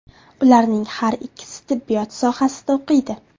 Ularning har ikkisi tibbiyot sohasida o‘qiydi.